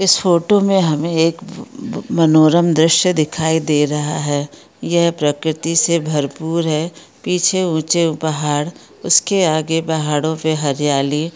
इस फोटो मे हमे एक मनोरम दृश्य दिखाई दे रहा है यह प्रकृति से भरपूर है पीछे ऊंचे पहाड़ इसके आगे पहाड़ो पे हरियाली --